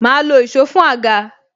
Ma lo èsó fún àga